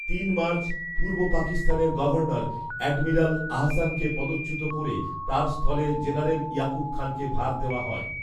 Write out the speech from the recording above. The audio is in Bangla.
তিন মার্চ পূর্ব পাকিস্তানের গভর্নর এডমিরাল আহসানকে পদচ্যুত করে তার স্থলে জেনারেল ইয়াকুব খানকে ভার দেওয়া হয়